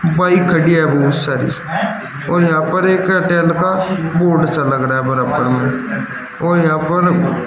bike खड़ी है बहोत सारी और यहां पर एक एयरटेल का बोर्ड सा लग रहा है बराबर में और यहां पर --